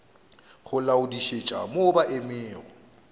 go laodišetša mo ba emego